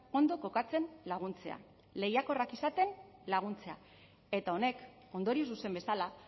ondo kokatzen laguntzea lehiakorrak izaten laguntzea eta honek ondorio zuzen bezala